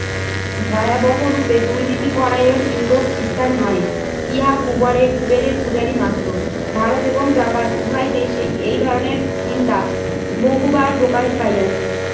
ভয়াবহ রূপে দুর্নীতি পরায়ন, ইউরোপ খ্রিস্টান নয়। ইহা কুবরে কুবেরের পূজারী মাত্র। ভারত এবং জাপান উভয় দেশে এই ধরনের চিন্তা বহুবার প্রকাশ পাইয়াছে।